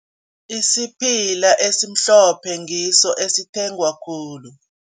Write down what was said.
Isiphila esimhlophe ngiso esithengwa khulu.